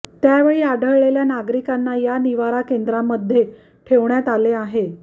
त्यावेळी आढळलेल्या नागरिकांना या निवारा केंद्रांमध्ये ठेवण्यात आले आहे